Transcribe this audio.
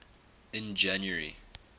in january